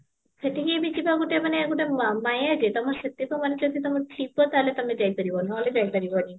ସେଠିକି ବି ଯିବା ଗୋଟେ ମାନେ ଗୋଟେ ମା ମାୟା ଯେ ତମ ସେତକ ମାନେ ଜଦି ଥିବ ତାହାହେଲେ ତମେ ଯାଇପାରିବ ନହେଲେ ଯାଇପାରିବନି